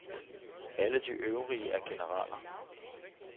Alle de øvrige er generaler.